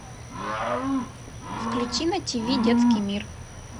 включи на ти ви детский мир